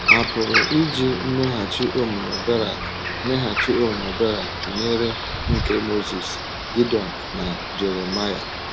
A pụrụ iji mmeghachi omume Berak mmeghachi omume Berak tụnyere nke Mozis, Gidiọn, na Jeremaịa.